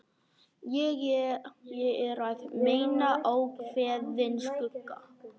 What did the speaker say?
Ég er að meina ákveðinn skugga.